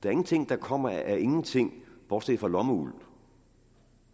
er ingenting der kommer af ingenting bortset fra lommeuld